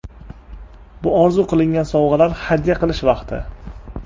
Bu orzu qilingan sovg‘alar hadya qilish vaqti.